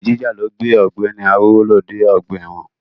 Olè jíjà ló gbé Ọ̀gbẹ́ni Arówólò dé ọgbà ẹ̀wọ̀n.